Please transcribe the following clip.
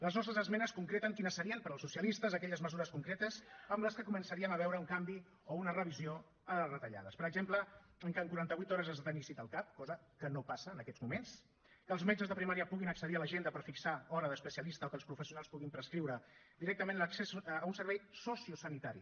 les nostres esmenes concreten quines serien per als socialistes aquelles mesures concretes amb les que començaríem a veure un canvi o una revisió a les retallades per exemple que en quaranta vuit hores has de tenir cita al cap cosa que no passa en aquests moments que els metges de primària puguin accedir a l’agenda per fixar hora d’especialista o que els professionals puguin prescriure directament l’accés a un servei sociosanitari